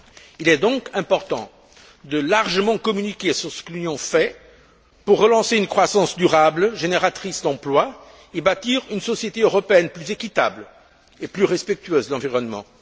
Il est donc important de largement communiquer sur ce que l'Union fait pour relancer une croissance durable, génératrice d'emplois, et bâtir une société européenne plus équitable et plus respectueuse de l'environnement.